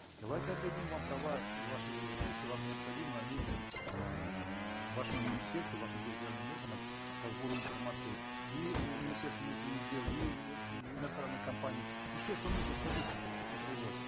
давайте отдадим вам права ваши если вам необходимы они эээ вашему министерству вашим территориальным органам по сбору информации и у министерства внутренних дел и у э иностранной компании ну все что нужно скажите централизовать